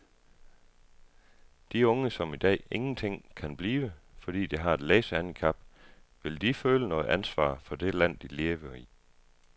De unge som i dag ingenting kan blive, fordi de har et læsehandicap, vil de føle noget ansvar for det land, de lever i?